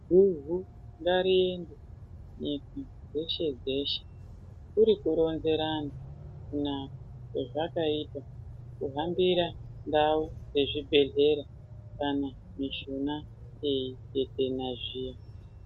Hihi ngariende Nyika dzeshe dzeshe kuri kuronzera anhu kunaka kwezvakaota kuhambira ndau yezvibhedhlera kana mushuna yeitetena zviya.